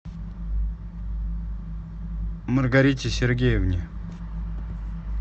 маргарите сергеевне